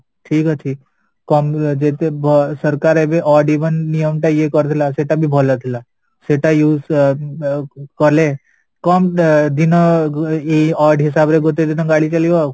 ଠିକ ଅଛି କମ ଯେତେ ଅ ସରକାର ଏବେ ଅ ନିଅମ ଟା ଇଏ କରିଥିଲା ସେଟାବି ଭଲ ଥିଲା ସେଇଟା use ଅ କଲେ କମ ଅ ଦିନ odd ହିସାବରେ ଗୋତେଦିନ ଗାଡ଼ି ଚାଲିବ